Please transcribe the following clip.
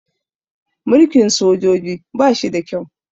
Mulkin sojoji ba shi da kyau